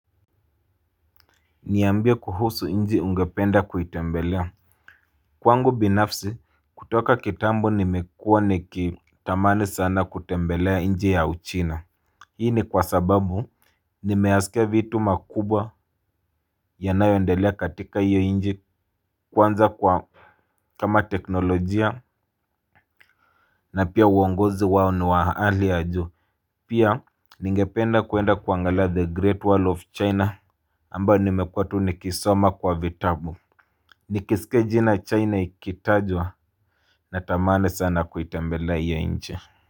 Niambie kuhusu nchi ungependa kuitembelea. Kwangu binafsi kutoka kitambo nimekuwa nikitamani sana kutembelea nchi ya uchina. Hii ni kwa sababu nimeyasikia vitu makubwa yanayoendelea katika hiyo nchi kwanza kwa kama teknolojia na pia uongozi wao ni wa hali ya juu. Pia ningependa kuenda kuangalia The Great Wall of China Ambayo nimekuwa tu nikisoma kwa vitabu. Nikisikia jina China ikitajwa. Natamani sana kuitembelea hiyo nchi.